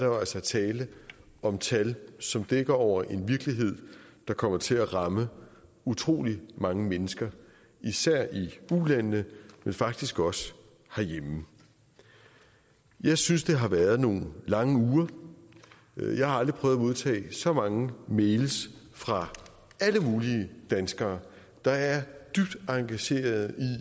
jo altså tale om tal som dækker over en virkelighed der kommer til at ramme utrolig mange mennesker især i ulandene men faktisk også herhjemme jeg synes det har været nogle lange uger jeg har aldrig prøvet at modtage så mange mails fra alle mulige danskere der er dybt engagerede